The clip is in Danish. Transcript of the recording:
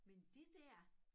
Men det dér